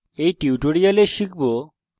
in tutorial আমরা শিখব